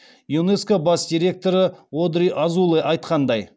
юнеско бас директоры одри азуле айтқандай